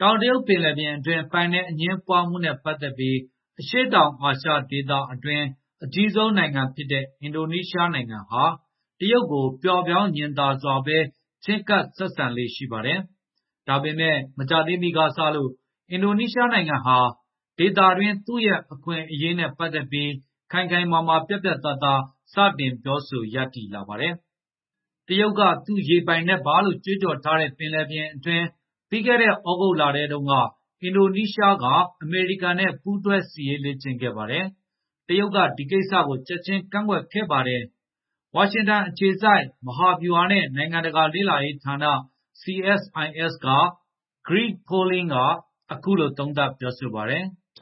တောင်တရုတ်ပင်လယ်ပြင်အတွင်း ပိုင်နက်အငြင်းပွားမှုနဲ့ ပတ်သက်ပြီး အရှေ့တောင်အာရှအတွင်း အကြီးဆုံးနိုင်ငံဖြစ်တဲ့ အင်ဒိုနီးရှားဟာ တရုတ်ကို ပျော့ပျောင်းစွာ ချဉ်းကပ်ဆက်ဆံလေ့ ရှိပါတယ်။ ဒါပေမယ့် မကြာသေးမီကစလို့ အင်ဒိုနီးရှားဟာ ဒေသတွင်း သူ့ရဲ့အခွင့်အရေးနဲ့ ပတ်သက်ပြီး ခိုင်ခိုင်မာမာ ပြတ်ပြတ်သားသား စတင်ပြောဆို ရပ်တည်လာပါတယ်။ တရုတ်က သူ့ရေပိုင်နက်ပါလို့ ကြွေးကြော်ထားတဲ့ ပင်လယ်ပြင်အတွင်း ပြီးခဲ့တဲ့ သြဂုတ်လထဲတုန်းက အင်ဒိုနီးရှားက အမေရိကန်နဲ့ ပူးတွဲ စစ်ရေးလေ့ကျင့်ခဲ့ပါတယ်။ တရုတ်က ဒီကိစ္စကို ချက်ချင်း ကန့်ကွက်ခဲ့ပါတယ်။ ဝါရှင်တန်အခြေစိုက် မဟာဗျူဟာနဲ့ နိုင်ငံတကာလေ့လာရေးဌာန CSIS က Greg Polling က အခုလို သုံးသပ်ပြောဆိုပါတယ်။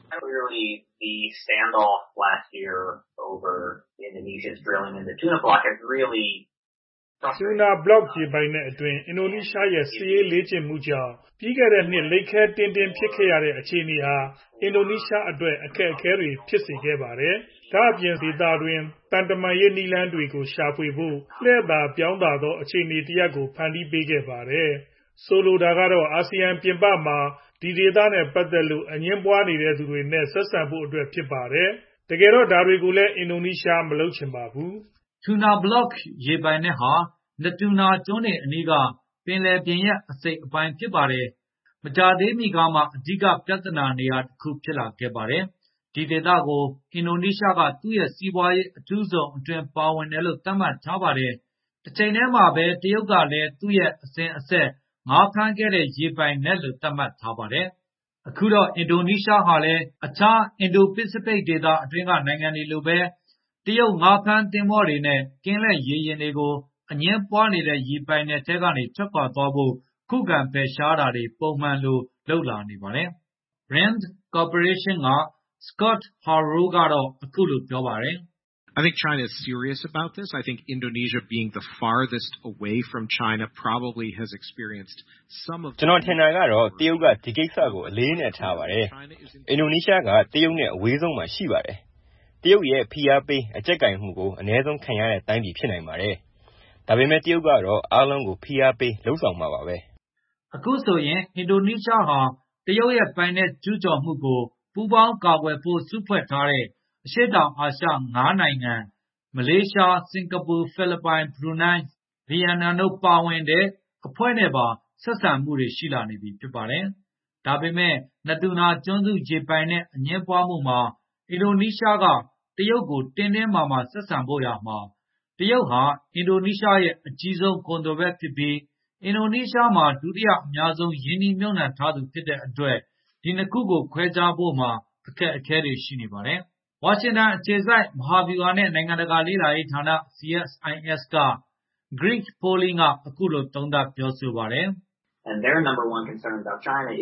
“Tuna Block ရေပိုင်နက်အတွင်း အင်ဒိုနီးရှားရဲ့ စစ်ရေးလေ့ကျင့်မှုကြောင့် ပြီးခဲ့တဲ့နှစ် လိပ်ခဲတည်းလည်း ဖြစ်ခဲ့ရတဲ့ အခြေအနေဟာ အင်ဒိုနီးရှားအတွက် အခက်အခဲတွေ ဖြစ်စေခဲ့ပါတယ်။ ဒါ့အပြင် (sub region/Asean) ဒေသတွင်း သံတမန်ရေး နည်းလမ်းတွေကို ရှာဖွေဖို့ လှည့်သာပြောင်းသာ အခြေအနေတရပ်ကို ဖန်တီးပေးခဲ့ပါတယ်။ ဆိုလိုတာကတော့ အာဆီယံပြင်ပမှာ ဒီဒေသနဲ့ပတ်သက်လို့ အငြင်းပွားနေတဲ့သူတွေနဲ့ ဆက်ဆံဖို့အတွက် ဖြစ်ပါတယ်။ တကယ်တော့ ဒါကိုလည်း အင်ဒိုနီးရှား မလုပ်ချင်ဘူး။” Tuna Block ရေပိုင်နက်ဟာ Natuna ကျွန်းတွေအနီးက ပင်လယ်ရေပြင်ရဲ့ အစိတ်အပိုင်း ဖြစ်ပါတယ်။ မကြာသေးမီကမှ အဓိကပြဿနာနေရာတခု ဖြစ်လာခဲ့ပါတယ်။ ဒီဒေသကို အင်ဒိုနီးရှားက သူ့ရဲ့ စီးပွားရေးအထူးဇုန်အတွင်း ပါဝင်တယ်လို့ သတ်မှတ်ထားပါတယ်။ တချိန်တည်းမှာပဲ တရုတ်ကလည်း သူ့ရဲ့ အစဉ်အဆက် ငါးဖမ်းခဲ့တဲ့ ရေပိုင်နက်လို့ သတ်မှတ်ထားပါတယ်။ အခုတော့ အင်ဒိုနီးရှားဟာလည်း အခြား အင်ဒို-ပစိဖိတ် ဒေသတွင်းက နိုင်ငံတွေလိုပဲ တရုတ်ငါးဖမ်းသင်္ဘောတွေနဲ့ ကင်းလှည့်ရေယာဉ်တွေကို အငြင်းပွားနေတဲ့ ရေပိုင်နက်ထဲက ထွက်ခွါသွားဖို့ ခုခံဖယ်ရှားတာတွေ ပုံမှန်လုပ်လာနေပါတယ်။ RAND Cooperation က Scott Harold ကတော့ အခုလိုပြောပါတယ်။ “ကျနော်ထင်တာကတော့ တရုတ်က ဒီကိစ္စ အလေးအနက်ထားပါတယ်။ အင်ဒိုနီးရှားက တရုတ်နဲ့ အဝေးဆုံးမှာ ရှိပါတယ်။ တရုတ်ရဲ့ ဖိအားပေး အကျပ်ကိုင်မှုကို အနည်းဆုံးခံရတဲ့တိုင်းပြည် ဖြစ်နိုင်ပါတယ်။ ဒါပေမယ့် တရုတ်ကတော့ အားလုံးကို ဖိအားပေး လုပ်ဆောင်မှာပါပဲ။” အခုဆိုရင် အင်ဒိုနီးရှားဟာ တရုတ်ရဲ့ ပိုင်နက်ကျူးကျော်မှုကို ပူးပေါင်းကာကွယ်ဖို့ စုဖွဲ့ထားတဲ့ အရှေ့တောင်အာရှ ၅ နိုင်ငံ၊ မလေးရှား၊ စင်ကာပူ၊ ဖိလစ်ပိုင်၊ ဘရူနိုင်း၊ ဗီယက်နမ်တို့ ပါဝင်တဲ့ အဖွဲ့နဲ့ပါ ဆက်ဆံမှုတွေ ရှိလာနေပြီ ဖြစ်ပါတယ်။ ဒါပေမယ့် Natuna ကျွန်းစု ရေပိုင်နက် အငြင်းပွားမှုမှာ အင်ဒိုနီးရှားက တရုတ်ကို တင်းတင်းမာမာ ဆက်ဆံဖို့ ဆိုရာမှာ တရုတ်ဟာ အင်ဒိုနီးရှားရဲ့ အကြီးဆုံးကုန်သွယ်ဘက်ဖြစ်ပြီး အင်ဒိုနီးရှားမှာ ဒုတိယအများဆုံး ရင်းနှီးမြှုပ်နှံထားသူ ဖြစ်တဲ့အတွက် ဒီနှစ်ခုကို ခွဲခြားဖို့မှာ အခက်အခဲတွေ ရှိနေပါတယ်။ ဝါရှင်တန်အခြေစိုက် မဟာဗျူဟာနဲ့ နိုင်ငံတကာ လေ့လာရေးဌာန CSIS က Greg Polling က အခုလို သုံးသပ် ပြောဆိုပါတယ်။ “တရုတ်နဲ့ ကောင်းမွန်တဲ့ ဆက်ဆံရ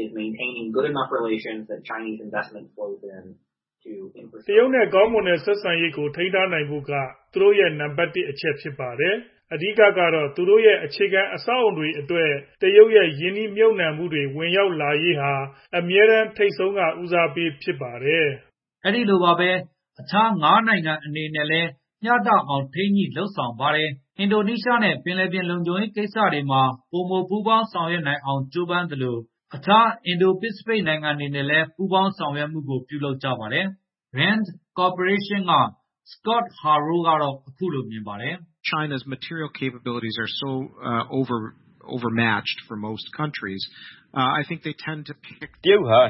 ေးကို ထိန်းထားနိုင်ဖို့က သူတို့ရဲ့ နံပါတ် ၁ အချက် ဖြစ်ပါတယ်။ အဓိကကတော့ သူတို့ရဲ့ အခြေခံအဆောက်အဦးတွေအတွက် တရုတ်ရဲ့ ရင်းနှီးမြှုပ်နှံမှုတွေ ဝင်ရောက်လာရေးဟာ အမြဲတမ်း ထိပ်ဆုံးက ဦးစားပေးဖြစ်ပါတယ်။” အဲဒီလိုပါပဲ၊ အခြား ၅ နိုင်ငံအနေနဲ့လည်း မျှတအောင် ထိန်းညှိလုပ်ဆောင်ပါတယ်။ အင်ဒိုနီးရှားနဲ့ ပင်လယ်ပြင်လုံခြုံရေး ကိစ္စတွေမှာ ပိုမိုပူးပေါင်း ဆောင်ရွက်နိုင်အောင် ကြိုးပမ်းသလို အခြား အင်ဒို-ပစိဖိတ် နိုင်ငံတွေနဲ့လည်း ပူးပေါင်းဆောင်ရွက်နိုင်မှုကို လုပ်ကြပါတယ်။ RAND Corporation က Scott Harold ကတော့ အခုလိုမြင်ပါတယ်။ “တရုတ်ဟာ ရုပ်ဝတ္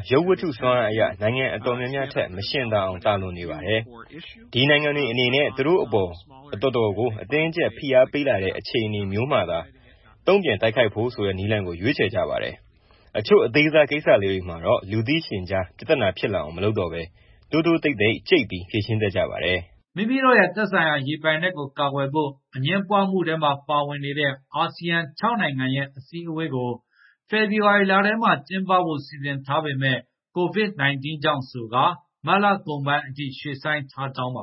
ထုစွမ်းအားအရ နိုင်ငံအတော်များများထက် မယှဉ်သာအောင် သာလွန်ပါတယ်။ ဒီနိုင်ငံတွေအနေနဲ့ သူတို့အပေါ် အတော်ကို အတင်းအကျပ် ဖိအားပေးလာတဲ့ အခြေအနေမျိုးမှာသာ တုံ့ပြန်တိုက်ခိုက်ဖို့ဆိုတဲ့ နည်းလမ်းကို ရွေးချယ်ကြပါတယ်။ အချို့ အသေးစားကိစ္စလေးတွေမှာတော့ လူသိရှင်ကြား ပြဿနာဖြစ်လာအောင် မလုပ်တော့ဘဲ တိုးတိုးတိတ်တိတ် ကြိတ်ပြီး ဖြေရှင်းတတ်ကြပါတယ်။” မိမိတို့ရဲ့ သက်ဆိုင်ရာ ရေပိုင်နက်ကို ကာကွယ်ဖို့ အငြင်းပွားမှုထဲမှာ ပါဝင်နေတဲ့ အာဆီယံ ၆ နိုင်ငံရဲ့ အစည်းအဝေးကို ဖေဖော်ဝါရီလထဲမှာ ကျင်းပဖို့ စီစဉ်ထားပေမယ့် COVID-19 ကြောင့် မတ်လကုန်ပိုင်းအထိ ရွှေ့ဆိုင်းထားကြောင်းပါ